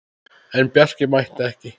En Bjarki mætti ekki.